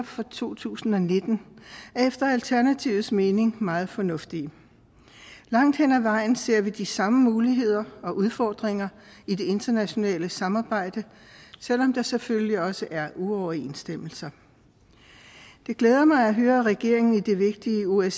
for to tusind og nitten er efter alternativets mening meget fornuftig langt hen ad vejen ser vi de samme muligheder og udfordringer i det internationale samarbejde selv om der selvfølgelig også er uoverensstemmelser det glæder mig at høre at regeringen i det vigtige osce